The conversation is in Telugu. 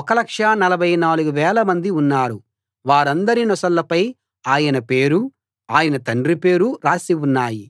1 44000 మంది ఉన్నారు వారందరి నొసళ్ళపై ఆయన పేరూ ఆయన తండ్రి పేరూ రాసి ఉన్నాయి